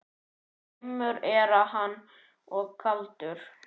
Dimmur er hann og kaldur.